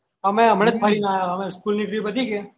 અમે અમનાજ ફરી ને આયા school ની પતિ ગયી